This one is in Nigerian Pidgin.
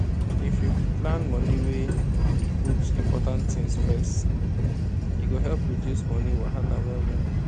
if you plan money wey put important things first e go help reduce money wahala well well